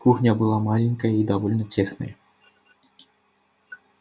кухня была маленькая и довольно тесная